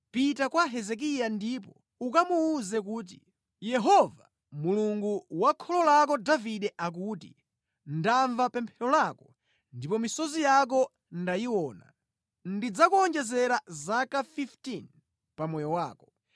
“Pita kwa Hezekiya ndipo ukamuwuze kuti, ‘Yehova, Mulungu wa kholo lake Davide akuti: Ndamva pemphero lako ndipo misozi yako ndayiona; ndidzakuwonjezera zaka 15 pa moyo wako.